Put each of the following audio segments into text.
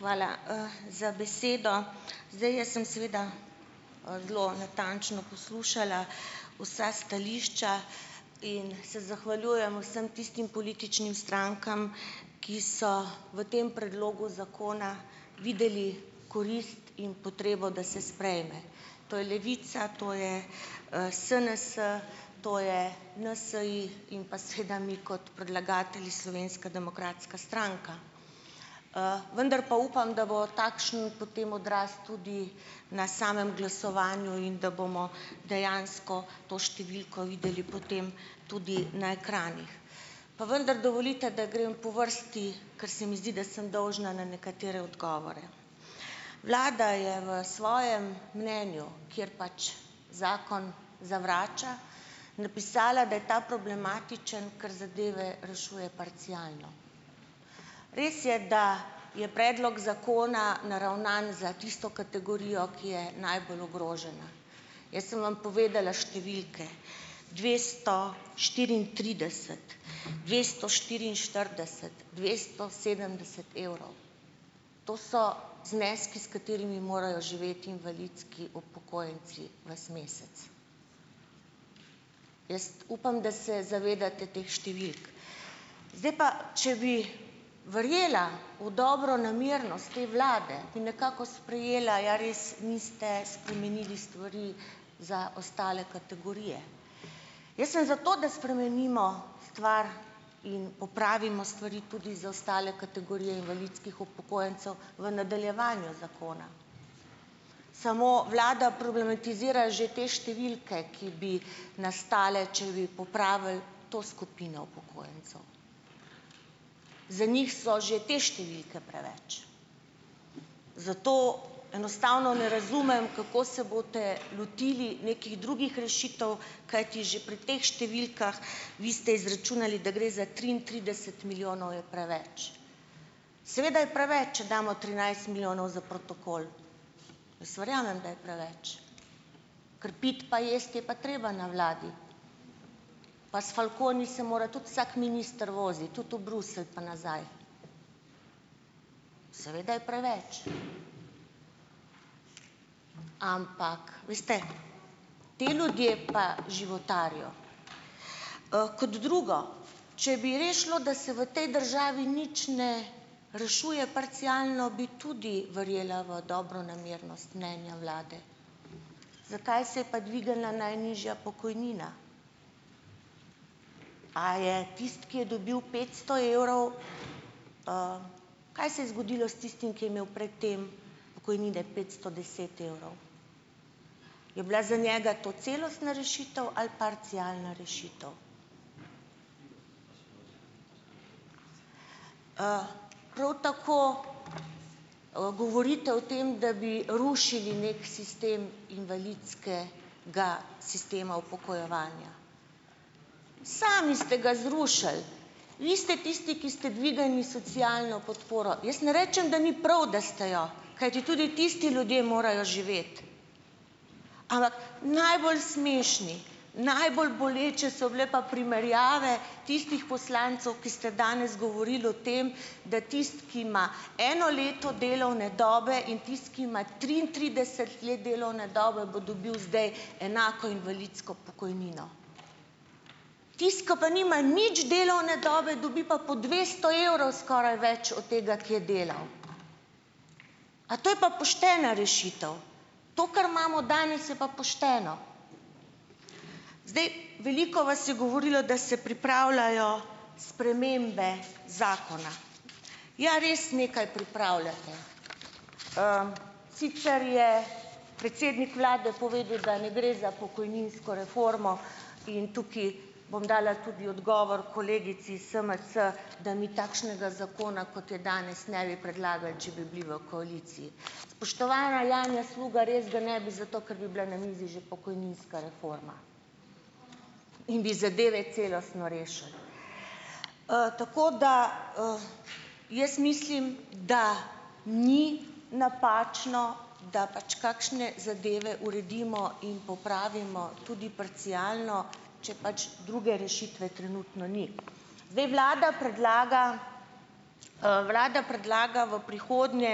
Hvala za besedo. Zdaj jaz sem seveda zelo natančno poslušala vsa stališča in se zahvaljujem vsem tistim političnim strankam, ki so v tem predlogu zakona videli korist in potrebo, da se sprejme. To je Levica, to je SNS, to je NSi in pa seveda mi kot predlagatelji Slovenska demokratska stranka. Vendar pa upam, da bo takšen potem odraz tudi na samem glasovanju in da bomo dejansko to številko videli potem tudi na ekranih. Pa vendar dovolite, da grem po vrsti, ker se mi zdi, da sem dolžna na nekatere odgovore. Vlada je v svojem mnenju, kjer pač zakon zavrača, napisala, da je ta problematičen, ker zadeve rešuje parcialno. Res je, da je predlog zakona naravnan za tisto kategorijo, ki je najbolj ogrožena. Jaz sem vam povedala številke, dvesto štiriintrideset, dvesto štiriinštirideset, dvesto sedemdeset evrov. To so zneski, s katerimi morajo živeti invalidski upokojenci ves mesec. Jaz upam, da se zavedate teh številk. Zdaj pa, če bi verjela v dobronamernost te vlade, bi nekako sprejela, ja res, niste spremenili stvari za ostale kategorije. Jaz sem za to, da spremenimo stvar in popravimo stvari tudi za ostale kategorije invalidskih upokojencev v nadaljevanju zakona. Samo vlada problematizira že te številke, ki bi nastale, če bi popravili to skupino upokojencev. Za njih so že te številke preveč. Zato enostavno ne razumem, kako se boste lotili nekih drugih rešitev, kajti že pri teh številkah, vi ste izračunali, da gre za triintrideset milijonov, je preveč. Seveda je preveč, če damo trinajst milijonov za protokol. Jaz verjamem, da je preveč. Ker piti pa jesti je pa treba na vladi. Pa s falconi se mora tudi vsak minister voziti, tudi u Bruselj pa nazaj. Seveda je preveč. Ampak veste, ti ljudje pa životarijo. Kot drugo. Če bi res šlo, da se v tej državi nič ne rešuje parcialno, bi tudi verjela v dobronamernost mnenja vlade. Zakaj se je pa dvignila najnižja pokojnina? A je tisti, ki je dobil petsto evrov... Kaj se je zgodilo s tistim, ki je imel pred tem pokojnine petsto deset evrov? Je bila za njega to celostna rešitev ali parcialna rešitev? Prav tako govorite o tem, da bi rušili neki sistem invalidskega sistema upokojevanja. Sami ste ga zrušili, vi ste tisti, ki ste dvignili socialno podporo, jaz ne rečem, da ni prav, da ste jo, kajti tudi tisti ljudje morajo živeti, ampak najbolj smešni, najbolj boleče so bile pa primerjave tistih poslancev, ki ste danes govorili o tem, da tisti, ki ima eno leto delovne dobe, in tisti, ki ima triintrideset let delovne dobe, bo dobil zdaj enako invalidsko pokojnino. Tisti, ki pa nima nič delovne dobe, dobi pa po dvesto evrov skoraj več od tega, ki je delal. A to je pa poštena rešitev? To, kar imamo danes, je pa pošteno? Zdaj Veliko vas je govorilo, da se pripravljajo spremembe zakona. Ja, res nekaj pripravljate. Sicer je predsednik vlade povedal, da ne gre za pokojninsko reformo in tukaj bom dala tudi odgovor kolegici is SMC, da mi takšnega zakona, kot je danes, ne bi predlagali, če bi bili v koaliciji. Spoštovana Janja Sluga, res ga ne bi, zato ker bi bila na mizi že pokojninska reforma in bi zadeve celostno rešili. Tako da jaz mislim, da ni napačno, da pač kakšne zadeve uredimo in popravimo tudi parcialno, če pač druge rešitve trenutno ni. Zdaj vlada predlaga, vlada predlaga v prihodnje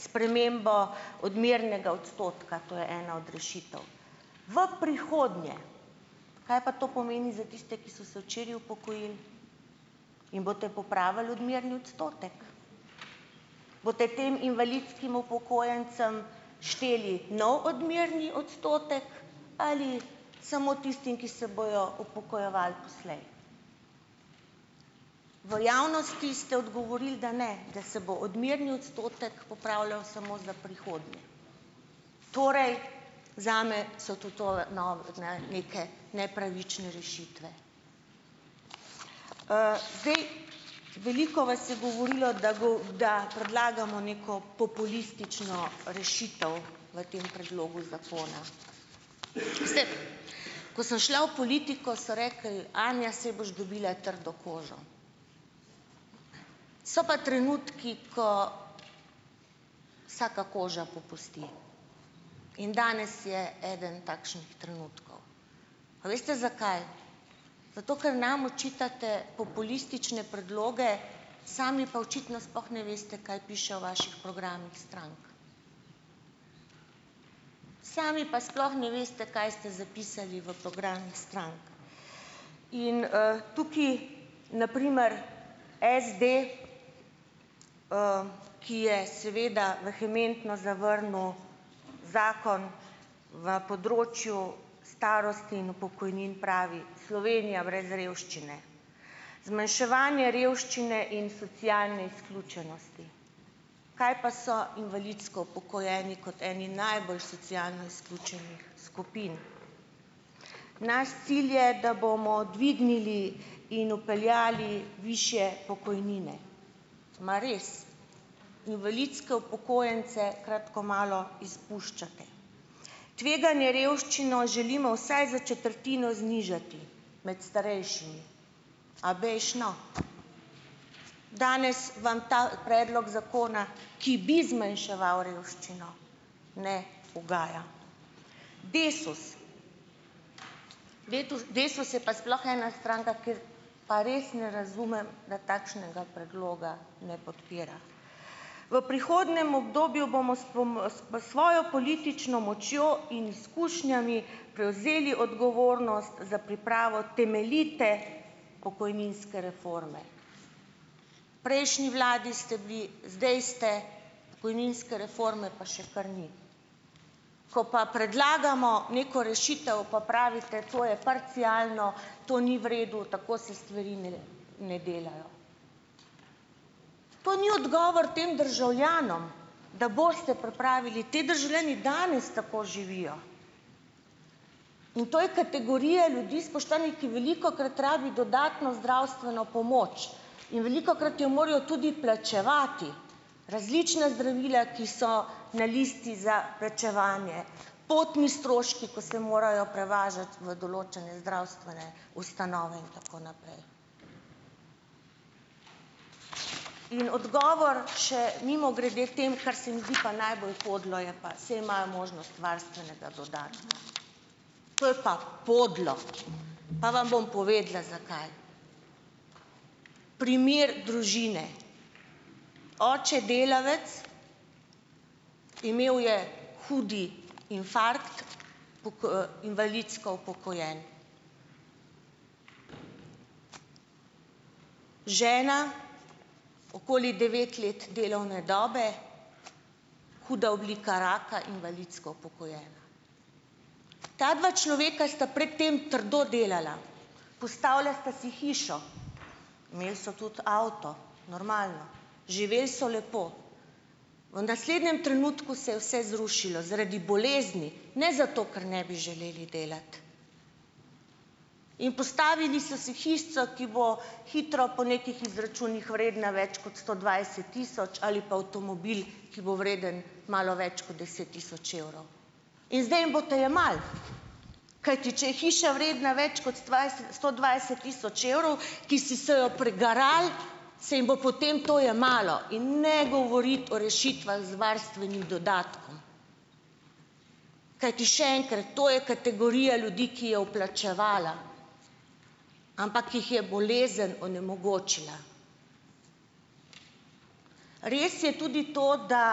spremembo odmernega odstotka, to je ena od rešitev v prihodnje. Kaj pa to pomeni za tiste, ki so se včeraj upokojili? Jim boste popravili odmerni odstotek? Boste tem invalidskim upokojencem šteli nov odmerni odstotek ali samo tistim, ki se bojo upokojevali poslej? V javnosti ste odgovorili, da ne, da se bo odmerni odstotek popravljal samo za prihodnje, torej zame so tudi tole, ne, neke nepravične rešitve. Zdaj. Veliko vas je govorilo, da da predlagamo neko populistično rešitev v tem predlogu zakona. Ko sem šla v politiko so rekli: "Anja, saj boš dobila trdo kožo." So pa trenutki, ko vsaka koža popusti. In danes je eden takšnih trenutkov. A veste zakaj? Zato, ker nam očitate populistične predloge, sami pa očitno sploh ne veste, kaj piše v vaših programih strank, sami pa sploh ne veste, kaj ste zapisali v programih strank. In tukaj na primer SD, ki je seveda vehementno zavrnil zakon v področju starosti in pokojnin, pravi: "Slovenija brez revščine, zmanjševanje revščine in socialne izključenosti." Kaj pa so invalidsko upokojeni kot eni najbolj socialno izključenih skupin? Naš cilj je, da bomo dvignili in vpeljali višje pokojnine. Mar res? Invalidske upokojence kratko malo izpuščate. Tveganje revščino želimo vsaj za četrtino znižati med starejšimi. A bejž, no. Danes vam ta predlog zakona, ki bi zmanjševal revščino, ne ugaja. DESUS DESUS je pa sploh ena stranka, kjer pa res ne razumem, da takšnega predloga ne podpira. V prihodnjem obdobju bomo s bom s v svojo politično močjo in izkušnjami prevzeli odgovornost za pripravo temeljite pokojninske reforme. V prejšnji vladi ste bili, zdaj ste, pokojninske reforme pa še kar ni. Ko pa predlagamo neko rešitev, pa pravite to je parcialno, to ni v redu, tako se stvari ne ne delajo. To ni odgovor tem državljanom, da boste pripravili, te državljani danes tako živijo, in to je kategorija ljudi, spoštovani, ki velikokrat rabi dodatno zdravstveno pomoč in velikokrat jo morajo tudi plačevati, različna zdravila, ki so na listi za plačevanje, potni stroški, ko se morajo prevažati v določene zdravstvene ustanove in tako naprej. In odgovor še mimogrede tem, kar se mi zdi pa najbolj podlo, je pa: "Saj imajo možnost varstvenega dodatka." To je pa podlo. Pa vam bom povedala, zakaj. Primer družine: Oče delavec, imel je hud infarkt, invalidsko upokojen, žena, okoli devet let delovne dobe, huda oblika raka, invalidsko upokojena. Ta dva človeka sta pred tem trdo delala. Postavlja sta si hišo, imeli so tudi avto, normalno, živel so lepo. V naslednjem trenutku se je vse zrušilo zaradi bolezni, ne zato, ker ne bi želeli delati. In postavili so si hišico, ki bo hitro po nekih izračunih vredna več kot sto dvajset tisoč, ali pa avtomobil, ki bo vreden malo več kot deset tisoč evrov. In zdaj jim boste jemali! Kajti če je hiša vredna več kot sto dvajset tisoč evrov, ki s so jo prigarali, se jim bo potem to jemalo, in ne govoriti o rešitvah z varstvenim dodatkom, kajti še enkrat, to je kategorija ljudi, ki je vplačevala, ampak jih je bolezen onemogočila. Res je tudi to, da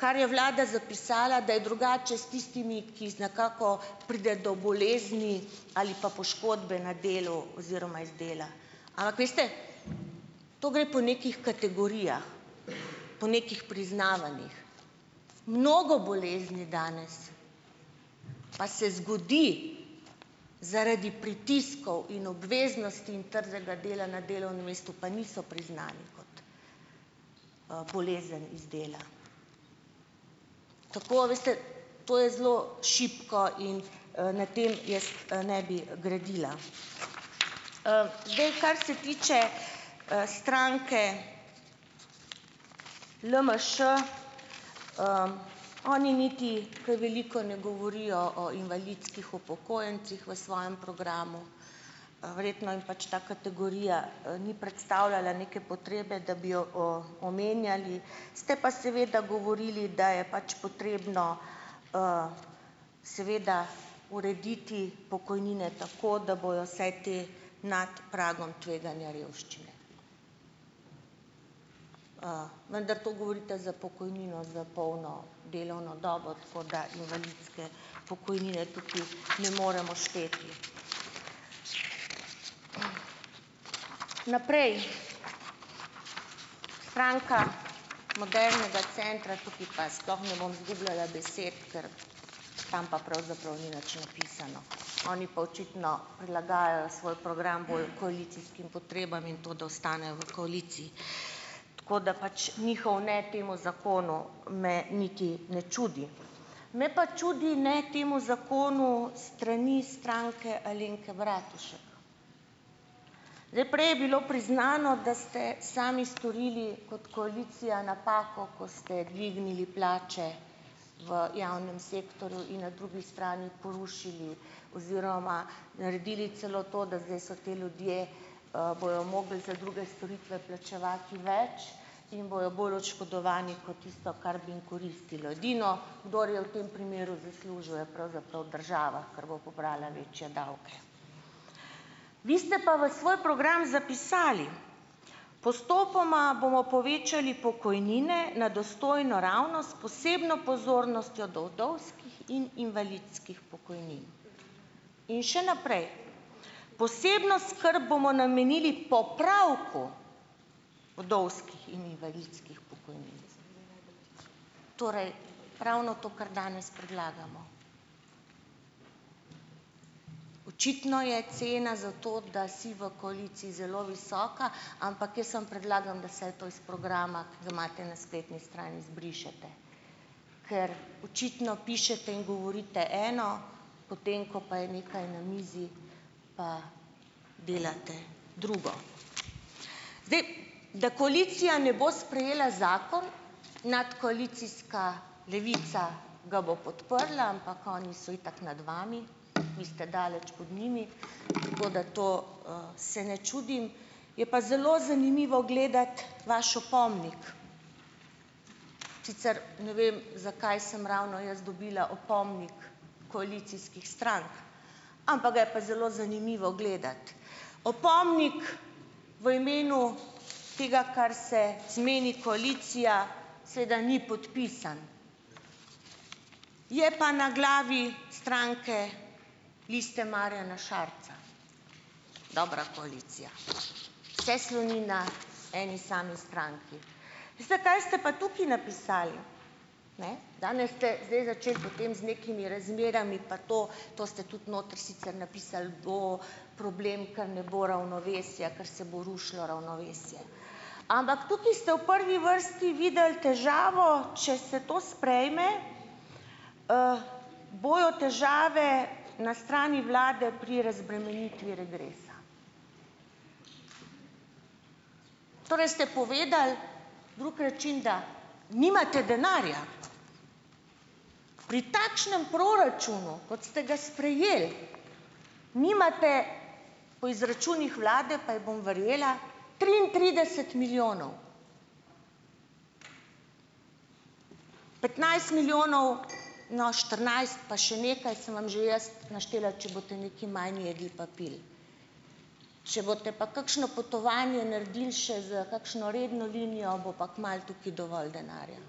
kar je vlada zapisala, da je drugače s tistimi, ki nekako pride do bolezni, ali pa poškodbe na delu oziroma iz dela. Ampak veste, to gre po nekih kategorijah, po nekih priznavanjih. Mnogo bolezni danes pa se zgodi zaradi pritiskov in obveznosti in trdega dela na delovnem mestu pa niso priznani kot bolezen iz dela. Tako, a veste, to je zelo šibko in na tem jaz ne bi gradila. Zdaj, kar se tiče stranke LMŠ. Oni niti kaj veliko ne govorijo o invalidskih upokojencih v svojem programu. Verjetno jim pač ta kategorija ni predstavljala neke potrebe, da bi jo omenjali, ste pa seveda govorili, da je pač potrebno seveda urediti pokojnine tako, da bojo vsaj te nad pragom tveganja revščine. Vendar to govorite za pokojnino za polno delovno dobo, tako da invalidske pokojnine tukaj ne moremo šteti. Naprej. Stranka modernega centra. Tukaj pa sploh ne bom zgubljala besed, ker tam pa pravzaprav ni nič napisano, oni pa očitno prilagajajo svoj program bolj koalicijskim potrebam in to, da ostanejo v koaliciji, tako da pač njihov ne temu zakonu me niti ne čudi. Me pa čudi ne temu zakonu s strani Stranke Alenke Bratušek. Zdaj, prej je bilo priznano, da ste sami storili kot koalicija napako, ko ste dvignili plače v javnem sektorju in na drugi strani porušili oziroma naredili celo to, da zdaj so ti ljudje, bojo mogli za druge storitve plačevati več in bojo bolj oškodovani kot tisto, kar bi jim koristilo. Edino kdor je v tem primeru zaslužil, je pravzaprav država, ker bo pobrala večje davke. Vi ste pa v svoj program zapisali: "Postopoma bomo povečali pokojnine na dostojno raven s posebno pozornostjo do vdovskih in invalidskih pokojnin." In še naprej: "Posebno skrb bomo namenili popravku vdovskih in invalidskih pokojnin." Torej ravno to, kar danes predlagamo. Očitno je cena za to, da si v koaliciji, zelo visoka, ampak jaz samo predlagam, da vsaj to iz programa, ki ga imate na spletni strani, izbrišete, ker očitno pišete in govorite eno, potem ko pa je nekaj na mizi, pa delate drugo. Zdaj, da koalicija ne bo sprejela zakon, nadkoalicijska Levica ga bo podprla, ampak oni so itak nad vami, vi ste daleč pod njimi, tako da to se ne čudim. Je pa zelo zanimivo gledati vaš opomnik, sicer ne vem, zakaj sem ravno jaz dobila opomnik koalicijskih strank. Ampak ga je pa zelo zanimivo gledati. Opomnik v imenu tega, kar se zmeni koalicija, seveda, ni podpisan. Je pa na glavi stranke Liste Marjana Šarca, dobra koalicija. Vse sloni na eni sami stranki. Veste, kaj ste pa tukaj napisali, ne, danes ste zdaj začeli z nekimi razmerami pa to, to ste tudi noter sicer napisali, bo problem, ker ne bo ravnovesja, ker se bo rušilo ravnovesje. Ampak tukaj ste v prvi vrsti videli težavo. Če se to sprejme, bojo težave na strani vlade pri razbremenitvi regresa. Torej, ste povedali drug način, da nimate denarja. Pri takšnem proračunu, kot ste ga sprejeli, nimate po izračunih vlade, pa ji bom verjela, triintrideset milijonov. Petnajst milijonov, no, štirinajst pa še nekaj, sem vam že jaz naštela, če boste nekaj manj jedli pa pili. Če boste pa kakšno potovanje naredili še s kakšno redno linijo, bo pa kmalu tukaj dovolj denarja.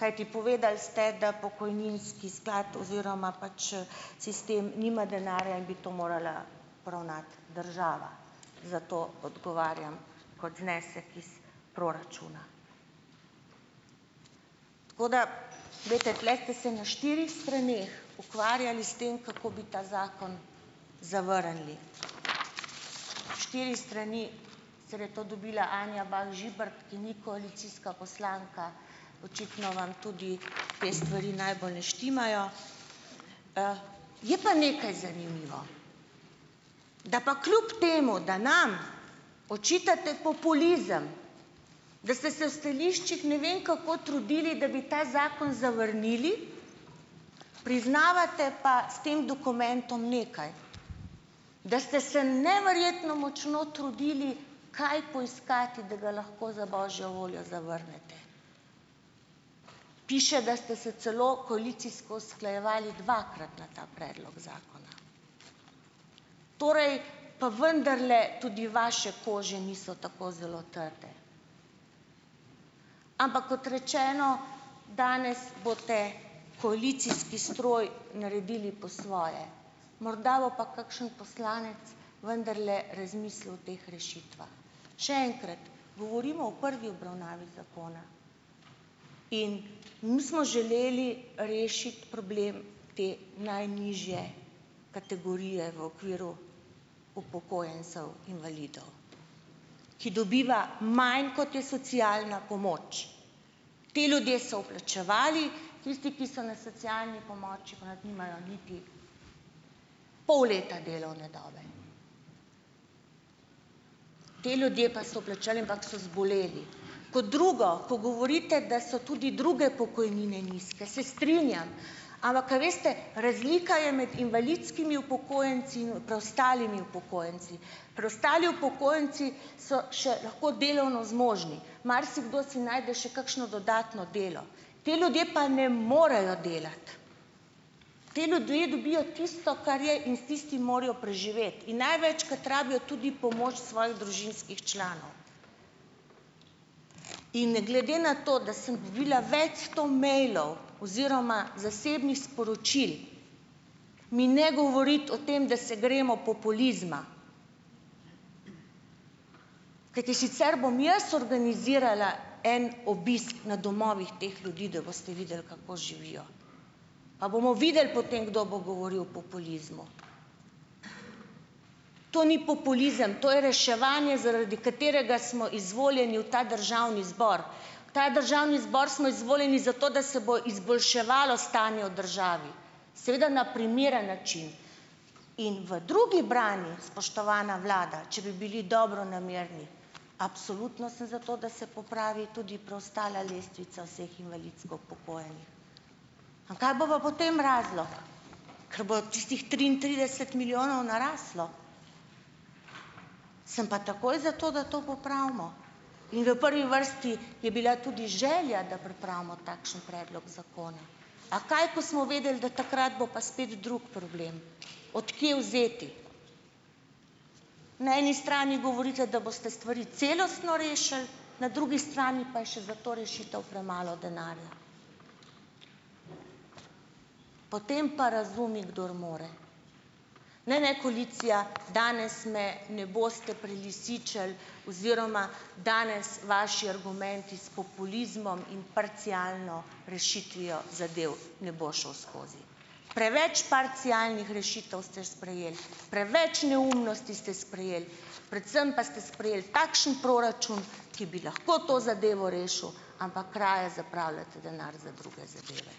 Kajti povedali ste, da pokojninski sklad oziroma pač sistem nima denarja in bi to morala poravnati država, zato odgovarjam kot znesek iz proračuna. Tako da glejte, tule ste se na štirih straneh ukvarjali s tem, kako bi ta zakon zavrnili. Štiri strani, sicer je to dobila Anja Bah Žibert, ki ni koalicijska poslanka, očitno vam tudi te stvari najbolj ne štimajo. Je pa nekaj zanimivo, da pa kljub temu, da nam očitate populizem, da ste se v stališčih ne vem kako trudili, da bi ta zakon zavrnili, priznavate pa s tem dokumentom nekaj, da ste se neverjetno močno trudili kaj poiskati, da ga lahko za božjo voljo zavrnete. Piše, da ste se celo koalicijsko usklajevali dvakrat na ta predlog zakona. Torej, pa vendarle tudi vaše kože niso tako zelo trde. Ampak kot rečeno, danes boste, koalicijski stroj, naredili po svoje. Morda bo pa kakšen poslanec vendarle razmislil o teh rešitvah. Še enkrat, govorimo o prvi obravnavi zakona. In mi smo želeli rešiti problem te najnižje kategorije v okviru upokojencev invalidov, ki dobiva manj kot je socialna pomoč. Ti ljudje so vplačevali. Tisti, ki so na socialni pomoči pa nimajo niti pol leta delovne dobe. Te ljudje pa so vplačali, ampak so zboleli. Kot drugo, ko govorite, da so tudi druge pokojnine nizke, se strinjam. Ampak, a veste, razlika je med invalidskimi upokojenci in preostalimi upokojenci. Preostali upokojenci so še lahko delovno zmožni. Marsikdo si najde še kakšno dodatno delo. Ti ljudje pa ne morejo delati. Ti ljudje dobijo tisto, kar je, in s tistim morajo preživeti. In največkrat rabijo tudi pomoč svojih družinskih članov. In glede na to, da sem dobila več sto mejlov oziroma zasebnih sporočil, mi ne govoriti o tem, da se gremo populizma. Kajti, sicer bom jaz organizirala en obisk na domovih teh ljudi, da boste videli, kako živijo. Pa bomo videli potem, kdo bo govoril o populizmu. To ni populizem. To je reševanje, zaradi katerega smo izvoljeni v ta državni zbor. V ta državni zbor smo izvoljeni zato, da se bo izboljševalo stanje v državi, seveda na primeren način. In v drugih branjih, spoštovana vlada, če bi bili dobronamerni, absolutno sem za to, da se popravi tudi preostala lestvica vseh invalidsko upokojenih. A kaj bo pa potem razlog, ker bo tistih triintrideset milijonov naraslo. Sem pa takoj za to, da to popravimo. In v prvi vrsti je bila tudi želja, da pripravimo takšen predlog zakona. A kaj, ko smo vedeli, da takrat bo pa spet drug problem, od kje vzeti. Na eni strani govorite, da boste stvari celostno rešili, na drugi strani pa je še za to rešitev premalo denarja. Potem pa razumi, kdor more. Ne, ne, koalicija, danes me ne boste prelisičili oziroma danes vaši argumenti s populizmom in parcialno rešitvijo zadev ne bo šel skozi. Preveč parcialnih rešitev ste sprejeli, preveč neumnosti ste sprejeli. Predvsem pa ste sprejeli takšen proračun, ki bi lahko to zadevo rešil, ampak raje zapravljate denar za druge zadeve.